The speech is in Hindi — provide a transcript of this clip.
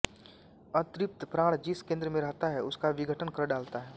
अतृप्त प्राण जिस केंद्र में रहता है उसका विघटन कर डालता है